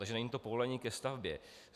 Takže není to povolení ke stavbě.